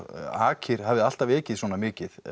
akir hafir alltaf ekið svona mikið